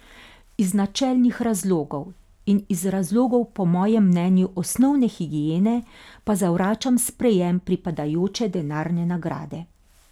Iz načelnih razlogov in iz razlogov po mojem mnenju osnovne higiene pa zavračam sprejem pripadajoče denarne nagrade.